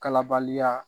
Kalabaliya